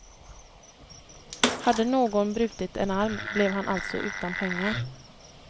Hade någon brutit en arm blev han alltså utan pengar.